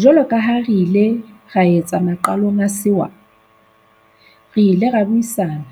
Jwalo ka ha re ile ra etsa maqalong a sewa, re ile ra buisana